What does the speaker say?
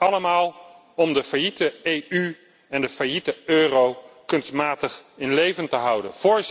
Allemaal om de failliete EU en de failliete euro kunstmatig in leven te houden.